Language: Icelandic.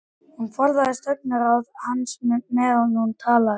Hún forðaðist augnaráð hans á meðan hún talaði.